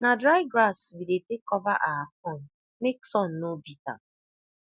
na dry grass we dey take cover our corn make sun no beat am